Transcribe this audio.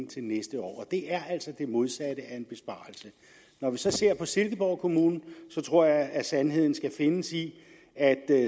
til næste år det er altså det modsatte af en besparelse når vi så ser på silkeborg kommune tror jeg at sandheden skal findes i at